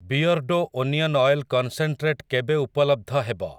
Beardo onion oil concentrate କେବେ ଉପଲବ୍ଧ ହେବ?